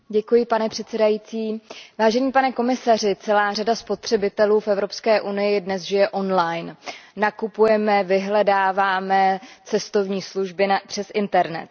Pane předsedající, pane komisaři, celá řada spotřebitelů v EU dnes žije on line nakupujeme, vyhledáváme cestovní služby přes internet.